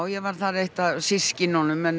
ég var þar eitt af systkinunum en